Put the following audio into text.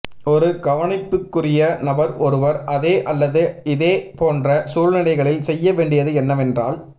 ஒரு கவனிப்புக்குரிய நபர் ஒருவர் அதே அல்லது இதே போன்ற சூழ்நிலைகளில் செய்ய வேண்டியது என்னவென்றால்